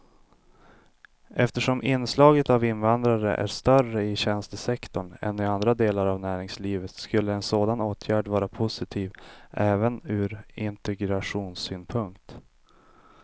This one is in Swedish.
Eftersom inslaget av invandrare är större i tjänstesektorn än i andra delar av näringslivet skulle en sådan åtgärd vara positiv även ur integrationssynpunkt.